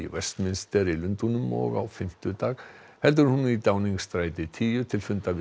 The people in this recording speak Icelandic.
Westminster í Lundúnum og á fimmtudag heldur hún í tíu til fundar við